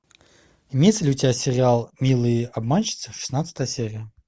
имеется ли у тебя сериал милые обманщицы шестнадцатая серия